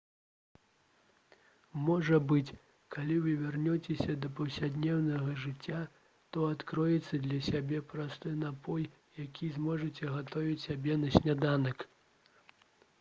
можа быць калі вы вернецеся да паўсядзённага жыцця то адкрыеце для сябе просты напой які зможаце гатаваць сябе на сняданак